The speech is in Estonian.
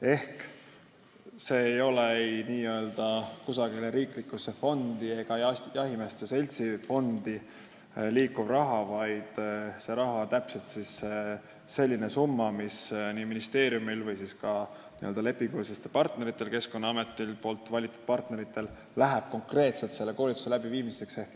Ehk see ei ole kusagile riiklikusse fondi ega jahimeeste seltsi liikuv raha, vaid see on täpselt selline summa, mis ministeeriumil või ka Keskkonnaameti valitud lepingulistel partneritel konkreetselt läheb selle koolituse läbiviimiseks.